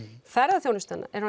ferðaþjónustan er